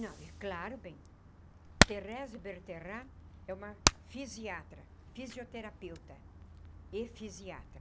Não, é claro, bem, Thérèse Bertherat é uma fisiatra, fisioterapeuta e fisiatra.